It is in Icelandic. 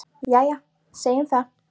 Jæja, segjum það.